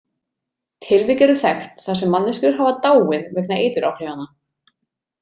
Tilvik eru þekkt þar sem manneskjur hafa dáið vegna eituráhrifanna.